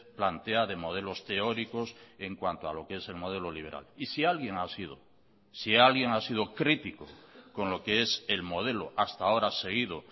plantea de modelos teóricos en cuanto a lo que es el modelo liberal y si alguien ha sido si alguien ha sido crítico con lo que es el modelo hasta ahora seguido